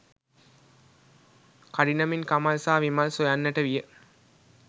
කඩිනමින් කමල් සහ විමල් සොයන්නට විය